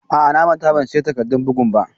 A'a, na manta ban siya takardun bugun ba.